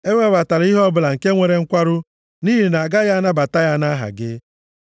Ewebatala ihe ọbụla nke nwere nkwarụ, nʼihi na agaghị m anabata ya nʼaha gị.